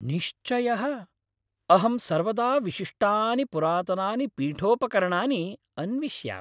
निश्चयः! अहं सर्वदा विशिष्टानि पुरातनानि पीठोपकरणानि अन्विष्यामि।